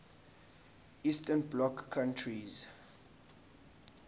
eastern bloc countries